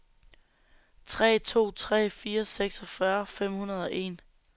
tre to tre fire seksogfyrre fem hundrede og en